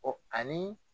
ani